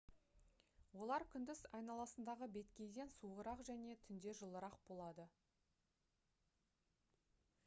олар күндіз айналасындағы беткейден суығырақ және түнде жылырақ болады